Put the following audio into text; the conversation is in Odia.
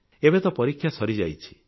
ଏବେ ତ ପରୀକ୍ଷା ସରିଯାଇଛି